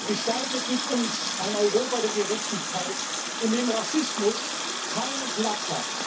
Gestaltet mit uns ein Europa der Gerechtigkeit, in dem Rassismus keinen Platz hat!